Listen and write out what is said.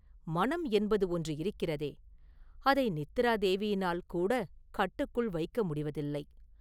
மனம் என்பது ஒன்று இருக்கிறதே, அதை நித்திரா தேவியினால் கூட கட்டுக்குள் வைக்க முடிவதில்லை.